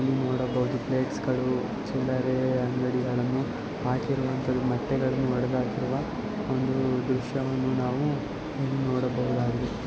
ಇಲ್ಲಿ ನೋಡಬಹುದು ಪ್ಲೇಟ್ಸ್ಗಳು ಚಿಲ್ಲರೆ ಅಂಗಡಿಗಳನ್ನು ಹಾಕಿರುವಂತ ಮೊಟ್ಟೆಗಳನ್ನು ಹೊಡೆದು ಹಾಕಿರುವ ಒಂದು ದೃಶ್ಯವನ್ನು ನಾವು ಇಲ್ಲಿ ನೋಡಬಹುದಾಗಿದೆ.